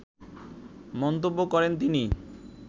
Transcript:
মন্তব্য করেন তিনি